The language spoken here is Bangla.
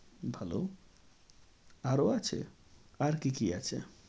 ভালো আরো আছে? আর কি কি আছে?